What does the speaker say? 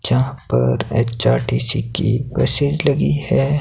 जहां पर एच_आर_टी_सी की बसेज लगी है।